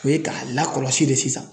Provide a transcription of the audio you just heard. O ye k'a lakɔlɔsi de sisan.